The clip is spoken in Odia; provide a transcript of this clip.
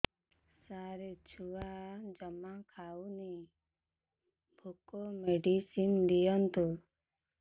ସାର ଛୁଆ ଜମା ଖାଉନି ଭୋକ ମେଡିସିନ ଦିଅନ୍ତୁ